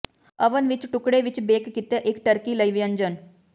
oven ਵਿੱਚ ਟੁਕੜੇ ਵਿੱਚ ਬੇਕ ਕੀਤੇ ਇੱਕ ਟਰਕੀ ਲਈ ਵਿਅੰਜਨ